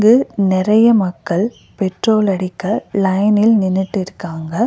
இது நெறைய மக்கள் பெட்ரோல் அடிக்க லைனில் நின்னுட்டு இருக்காங்க.